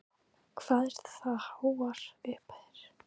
Telma: Hvað eru það háar upphæðir?